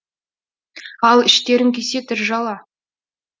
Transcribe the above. ал іштерің күйсе түз жала